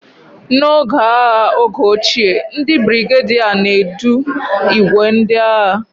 N'oge agha oge ochie, ndị brigadier na-edu ìgwè ndị agha